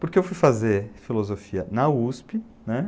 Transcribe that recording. Porque eu fui fazer filosofia na USP, né?